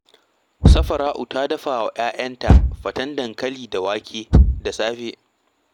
Safara’u ta dafa wa ‘ya’yanta faten dankali da wake da safe